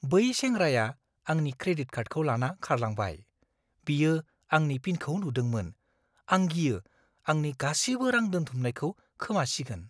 बै सेंग्राया आंनि क्रेडिट कार्डखौ लाना खारलांबाय। बियो आंनि पिनखौ नुदोंमोन। आं गियो आंनि गासिबो रां दोनथुमनायखौ खोमासिगोन।